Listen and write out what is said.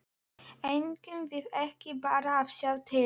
Eigum við ekki bara að sjá til?